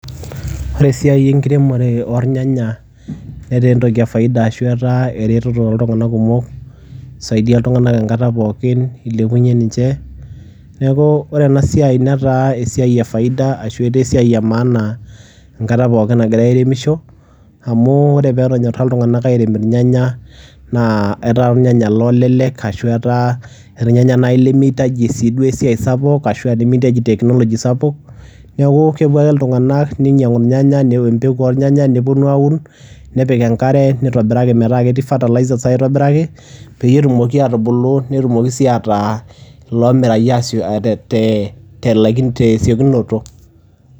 Ore esiai enkiremore ornyanya netaa entoki e faida ashu etaa eretoto toltung'anak kumok, isaidia iltung'anak enkata pookin, ilepunye ninche. Neeku ore ena siai netaa esiai e faida ashu etaa esiai e maana enkata pookin nagirai airemisho amu ore peetonyora iltung'anak airem irnyanya naa etaa irnyanya loolelek ashu etaa irnyanya nai lemiitaji sii duo esiai sapuk ashu aa nemiitaji teknology sapuk. Neeku kepuo ake iltung'anak ninyang'u irnyanyak empeku oornyanya, neponu aaun, nepik enkare, nitobiraki metaa ketii fertilizers aitobiraki peyie etumoki aatubulu netumoki sii ataa iloomirayu asio te te te laiki te siokinoto.